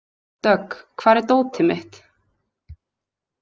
Dögg, hvar er dótið mitt?